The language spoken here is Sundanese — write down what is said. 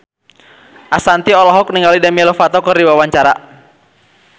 Ashanti olohok ningali Demi Lovato keur diwawancara